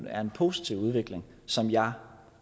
er en positiv udvikling som jeg